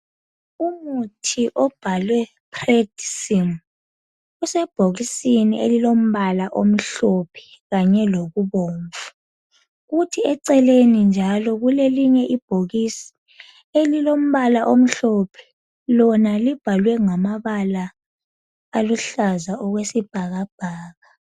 Umuthi obhalwe Predsim usebhokisini elilombala omhlophe kanye lokubomvu kuthi eceleni njalo kulelinye ibhokisi elilombala omhlophe lona libhalwe ngamabala aluhlaza okwesibhakabhaka.